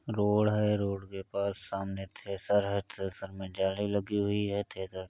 road है road के पास सामने थ्रेसर है थ्रेसर में जाली लगी हुई है थ्रेसर --